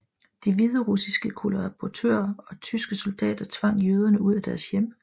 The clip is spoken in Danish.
De hviderussiske kollaboratører og tyske soldater tvang jøderne ud af deres hjem